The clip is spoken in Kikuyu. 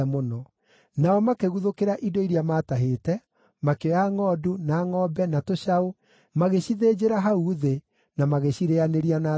Nao makĩguthũkĩra indo iria maatahĩte, makĩoya ngʼondu, na ngʼombe, na tũcaũ, magĩcithĩnjĩra hau thĩ, na magĩcirĩanĩria na thakame.